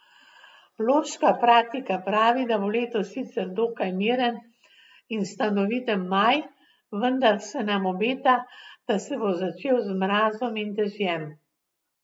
Bloška pratika pravi, da bo letos sicer dokaj miren in stanoviten maj, vendar se nam obeta, da se bo začel z mrazom in dežjem.